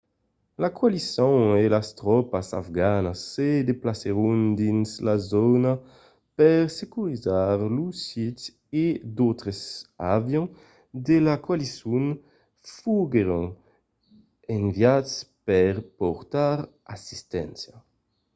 la coalicion e las tropas afganas se desplacèron dins la zòna per securizar lo sit e d'autres avions de la coalicion foguèron enviats per portar assisténcia